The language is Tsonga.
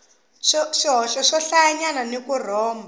swihoxo swohlayanyana ni ku rhomba